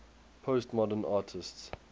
postmodern artists